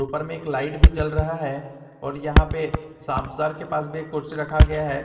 ऊपर में एक लाइट भी जल रहा है और यहां पे के पास भी एक कुर्सी रखा गया है।